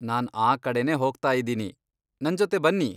ನಾನ್ ಆ ಕಡೆನೇ ಹೋಗ್ತಾಯಿದ್ದೀನಿ, ನಂಜೊತೆ ಬನ್ನಿ.